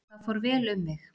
Þar fór vel um mig.